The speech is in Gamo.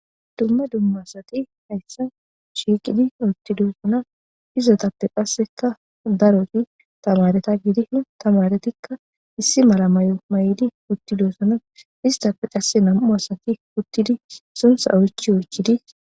dumma dumma asati hayssa shiiqidi uttidosonna izetappe qasseka daroti tamaareta gidi tamaretikka issi mala may'o may'dii uttidoossana istappe qasse nam'u asati uttidii sunththa oychi oychidii